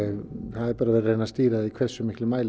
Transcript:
það er bara verið að reyna að stýra því í hversum miklum mæli